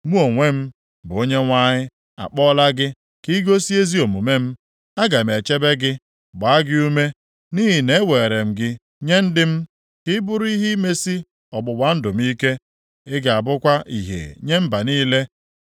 “Mụ onwe m, bụ Onyenwe anyị, akpọla gị ka i gosi ezi omume m. Aga m echebe gị, gbaa gị ume, nʼihi na eweere m gị nye ndị m ka ị bụrụ ihe imesi ọgbụgba ndụ m ike. Ị ga-abụkwa ìhè nye mba niile.